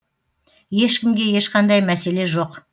ешкімге ешқандай мәселе жоқ